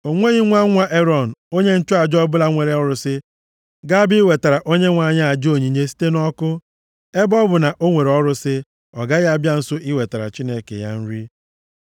O nweghị nwa nwa Erọn onye nchụaja ọbụla nwere ọrụsị ga-abịa iwetara Onyenwe anyị aja onyinye site nʼọkụ. Ebe ọ bụ na o nwere ọrụsị, ọ gaghị abịa nso iwetara Chineke ya nri.